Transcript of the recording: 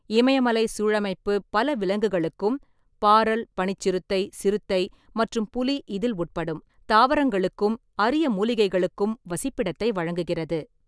இமயமலை சூழமைப்பு பல விலங்குகளுக்கும் (பாரல், பனிச் சிறுத்தை, சிறுத்தை மற்றும் புலி இதில் உட்படும்), தாவரங்களுக்கும் அரிய மூலிகைகளுக்கும் வசிப்பிடத்தை வழங்குகிறது.